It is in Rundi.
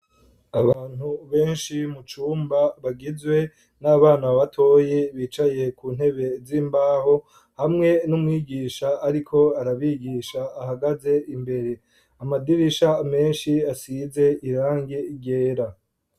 Abantu benshi mu cumba bagizwe n'abana batoye bicaye ku ntebe z'imbaho hamwe n'umwigisha ariko arabigisha ahagaze imbere. Amadirisha menshi asize irange ryera.